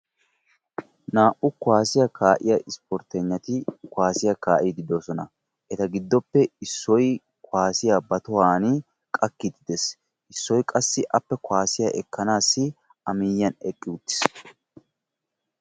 Naa'u kuwaasiya kaa'iya ispporttegnati kuwaasiya kaa"iiddi de'oosona. Eta giddoppe Issoyi kuwaasiya ba tohuwan qakkiiddi de'es. Issoyi qassi appe kuwaasiya ekkanaassi a miyyiyan eqqi uttis.